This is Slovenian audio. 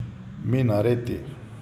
Minareti.